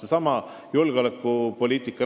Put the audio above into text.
Toon veel kord näiteks julgeolekupoliitika.